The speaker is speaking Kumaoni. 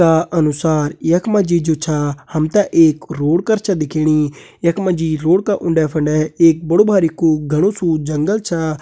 का अनुसार यख मजी जु छा हमते एक रोड कर छ दिखेणी। यख मजी रोड का उन्डे फंडे एक बड़ु भारी कु घणु सू जंगल छा।